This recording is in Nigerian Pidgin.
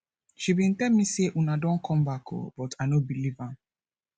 she bin tell me say una don come back oo but i no believe am